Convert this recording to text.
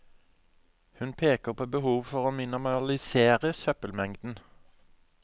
Hun peker på behovet for å minimalisere søppelmengden.